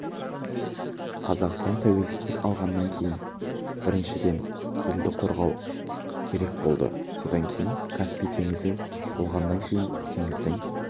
қазақстан тәуелсіздік алғаннан кейін біріншіден елді қорғау керек болды содан кейін каспий теңізі болғаннан кейін теңіздің